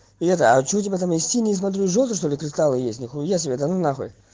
и это а что у тебя там есть и не смотри желто что-ли кристалла есть нихуя себе да ну нахуй